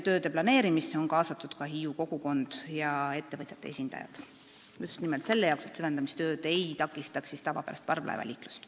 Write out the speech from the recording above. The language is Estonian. Tööde planeerimisse on kaasatud ka Hiiu kogukond ja ettevõtjate esindajad, just nimelt selle jaoks, et süvendamistööd ei takistaks tavapärast parvlaevaliiklust.